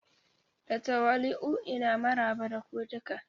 Da tawali'u ina maraba da ku duka.